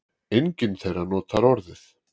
Enginn þeirra notar orðið